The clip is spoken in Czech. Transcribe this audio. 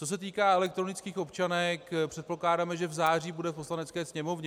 Co se týká elektronických občanek, předpokládáme, že v září bude v Poslanecké sněmovně.